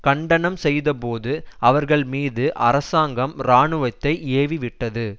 கண்டனம் செய்த போது அவர்கள் மீது அரசாங்கம் இராணுவத்தை ஏவி விட்டது